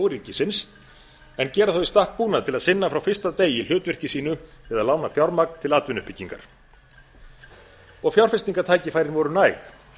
ríkisins en gera þá í stakk búna til að sinna frá fyrsta degi hlutverki sínu eða lána fjármagn til atvinnuuppbyggingar fjárfestingartækifærin voru næg